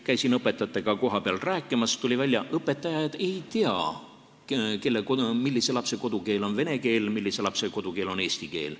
Käisin õpetajatega kohapeal rääkimas, tuli välja, et õpetajad ei tea, millise lapse kodukeel on vene keel, millise lapse kodukeel on eesti keel.